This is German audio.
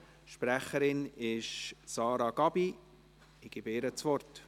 Sprecherin ist Sarah Gabi, ich gebe ihr das Wort.